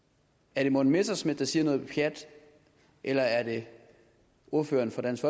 er det morten messerschmidt der siger noget pjat eller er det ordføreren for dansk